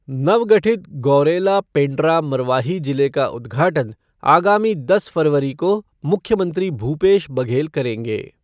नवगठित गौरेला पेण्ड्रा मरवाही जिले का उद्घाटन आगामी दस फरवरी को मुख्यमंत्री भूपेश बघेल करेंगे।